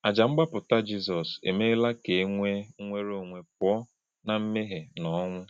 Àjà mgbapụta Jizọs emeela ka e nwee nnwere onwe pụọ ná mmehie na ọnwụ.